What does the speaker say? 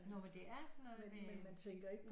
Nå men det er sådan noget med